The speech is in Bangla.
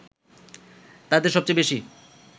তাদের সবচেয়ে বেশি